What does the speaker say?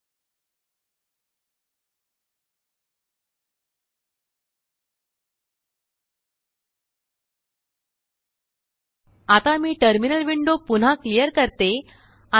5 6 सेकंदा साठी प्ले करा आता मीटर्मिनल विंडो पुन्हाक्लिअर करते